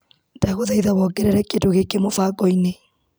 Ndagũthaitha wongerere kĩndũ gĩkĩ mũbango-inĩ .